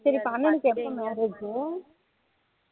சரி இப்போ அண்ணனுக்கு எப்போ marriage